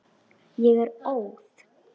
Ég er óð.